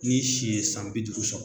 N'i si ye san bi duuru sɔrɔ .